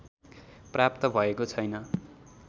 प्राप्त भएको छैन